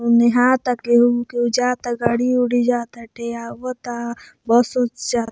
उ नेहाता केहू ना केहू जाता गाड़ी उड़ी जाता एठे आवता बहुत --